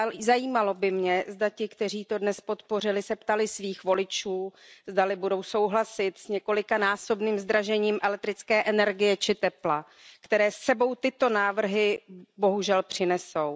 Zajímalo by mě, zda ti, kteří to dnes podpořili, se ptali svých voličů, zdali budou souhlasit s několikanásobným zdražením elektrické energie či tepla, které s sebou tyto návrhy bohužel přinesou.